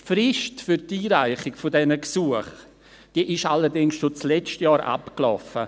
Die Frist für die Einreichung dieser Gesuche ist allerdings schon letztes Jahr abgelaufen.